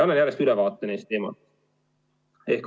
Annan järjest ülevaate neist teemadest.